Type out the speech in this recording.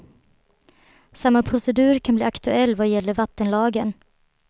Samma procedur kan bli aktuell vad gäller vattenlagen.